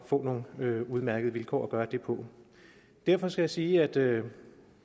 få nogle udmærkede vilkår at gøre det på derfor skal jeg sige at da